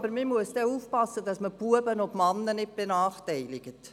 «Oh, dann müssen wir aber aufpassen, dass wir Knaben und Männer nicht benachteiligen.